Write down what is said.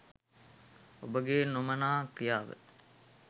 ඔබගේ නොමනා ක්‍රියාව